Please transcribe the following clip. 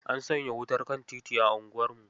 An saya wutar kan titi a unguwarmu.